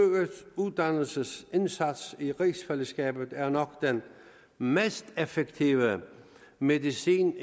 uddannelsesindsats i rigsfællesskabet er nok den mest effektive medicin